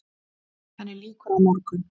Henni lýkur á morgun.